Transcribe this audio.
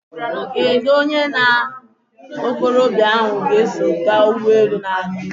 Kedụ onye ya na okorobịa ahụ so gaa n'ebe ụgbọelu na-ada?